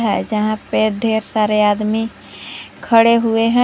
जहां पे ढेर सारे आदमी खड़े हुए हैं।